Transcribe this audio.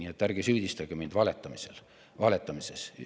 Nii et ärge süüdistage mind valetamises.